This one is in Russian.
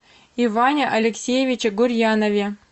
иване алексеевиче гурьянове